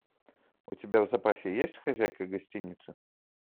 у тебя в запасе есть хозяйка гостиницы